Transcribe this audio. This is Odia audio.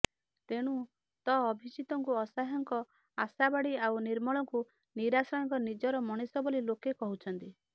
ତେଣୁ ତ ଅଭିଜିତଙ୍କୁ ଅସହାୟଙ୍କ ଆଶାବାଡି ଆଉ ନିର୍ମଳଙ୍କୁ ନିରାଶ୍ରୟଙ୍କ ନିଜର ମଣିଷ ବୋଲି ଲୋକେ କହୁଛନ୍ତି